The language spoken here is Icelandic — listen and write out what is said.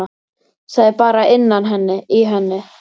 Það er bara innan í henni.